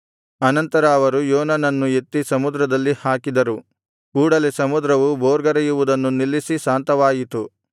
ಆನಂತರ ಅವರು ಯೋನನನ್ನು ಎತ್ತಿ ಸಮುದ್ರದಲ್ಲಿ ಹಾಕಿದರು ಕೂಡಲೆ ಸಮುದ್ರವು ಭೋರ್ಗರೆಯುವುದನ್ನು ನಿಲ್ಲಿಸಿ ಶಾಂತವಾಯಿತು